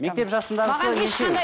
мектеп жасындағысы нешеу